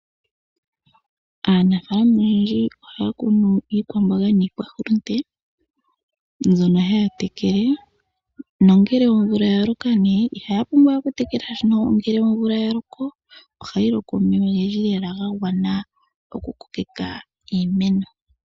Aanafalama oyendji ohaya kunu iikwambonga niikwaholote mbyono haya tekele nongele omvula yaloka nee iiyapumbwawe iha yatekele shashino ngele omvula yaloko ohayi loko omeya ogendji lela gagwana okukokeka iimeno.